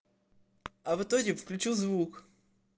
а в итоге включил звук